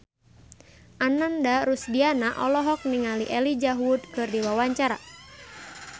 Ananda Rusdiana olohok ningali Elijah Wood keur diwawancara